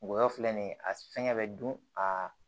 Ngɔyɔ filɛ nin ye a fɛngɛ bɛ don aa